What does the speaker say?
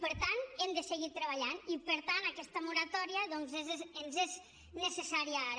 per tant hem de seguir treballant hi i per tant aquesta moratòria ens és necessària ara